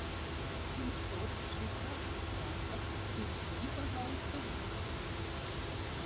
семьсот швейцарских франков переведи пожалуйста в рупии